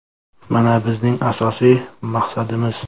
Mana, bizning asosiy maqsadimiz.